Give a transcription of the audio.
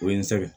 O ye n sɛgɛn